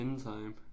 In Time